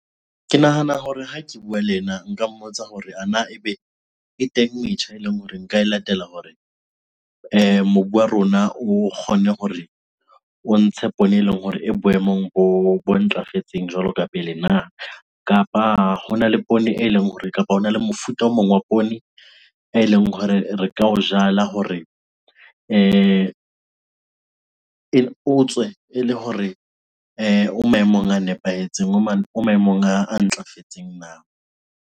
Ke nahana hore ha ke bua le yena nka mmotsa hore ana ebe e teng metjha eleng hore nka e latela hore mobu wa rona o kgone hore o ntshe poone, eleng hore e boemong bo ntlafetseng jwalo ka pele na? Kapa hona le poone eleng hore kapa hona le mofuta o mong wa poone eleng hore re ka o jala hore o tswe ele hore o maemong a nepahetseng, o maemong a ntlafetseng na?